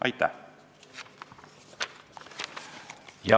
Aitäh!